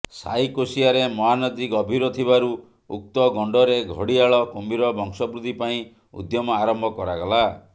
ସାଇକୋଶିଆରେ ମହାନଦୀ ଗଭୀର ଥିବାରୁ ଉକ୍ତ ଗଣ୍ଡରେ ଘଡ଼ିଆଳ କୁମ୍ଭୀର ବଂଶବୃଦ୍ଧି ପାଇଁ ଉଦ୍ୟମ ଆରମ୍ଭ କରାଗଲା